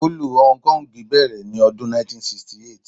Fúlúù Hong Kong bẹ̀rẹ̀ ní ọdún 1968.